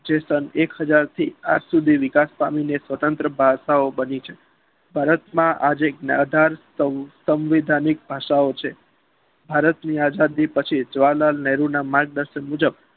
જે સન એક હજાર થી આજ સુધી નિકાસ પામીને સ્વતંત્ર ભાષા ઓ બની છે ભારતના આજ એક નાધાર સ્મીધાનીક ભાષાઓ છે ભારતની આજાદી પછી જવાહરલાલ નેહરુ ના માર્ગદર્શન મુજબ